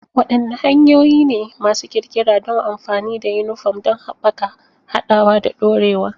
Wadanne hanyoyi ne masu ƙirƙira don amfani da yunifom don haɓaka haɗawa da dorewa?